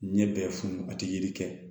Ɲɛ bɛ funu a tɛ yiri kɛ